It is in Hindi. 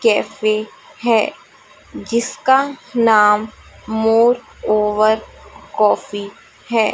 कैफे है जिसका नाम मोर ओवर कॉफी है।